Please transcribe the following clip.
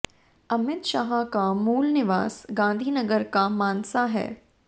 अमित शाह का मूल निवास गांधीनगर का मानसा है